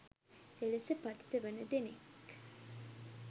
එලෙස පතිත වන දෙනෙක්